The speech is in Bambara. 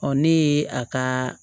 ne ye a ka